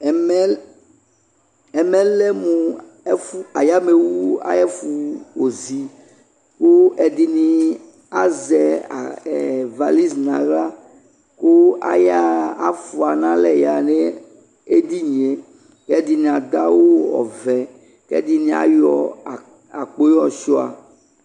Ɛmɛ, lɛ mo ɛfu, ayamɛowu ayefo ozi, ko ɛdene azɛ a ,ɛ, valis no ahla ko ayaha, afua no alɛ yaha no edinie ko ɛdene ado awu ɔvɛ ko ɛdene ayɔ agboe yɔ sua